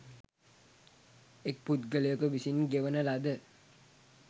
එක් පුද්ගලයෙකු විසින් ගෙවන ලද